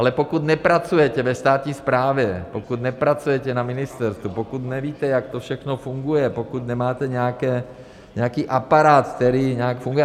Ale pokud nepracujete ve státní správě, pokud nepracujete na ministerstvu, pokud nevíte, jak to všechno funguje, pokud nemáte nějaký aparát, který nějak funguje...